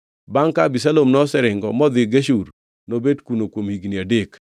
Bangʼ ka Abisalom oseringo modhi Geshur, nobet kuno kuom higni adek.